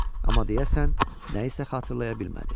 Amma deyəsən nə isə xatırlaya bilmədi.